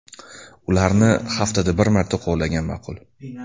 Ularni haftada bir marta qo‘llagan ma’qul.